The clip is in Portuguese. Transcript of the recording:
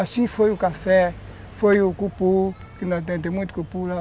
Assim foi o café, foi o cupu, que nós temos muito cupu lá.